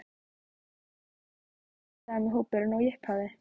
Er þetta þá mikið sami hópurinn og í upphafi?